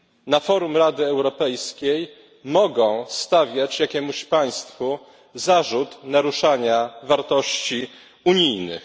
na forum Rady Europejskiej mogą stawiać jakiemuś państwu zarzut naruszania wartości unijnych.